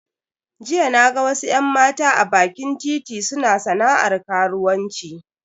Jiya naga wasu yan mata a bakin titi suna sana'ar karuwanci.